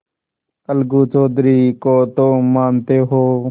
अलगू चौधरी को तो मानते हो